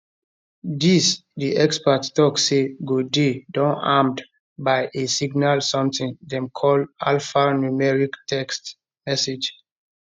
dis di expert tok say go dey don armed by a signal something dem call alphanumeric text message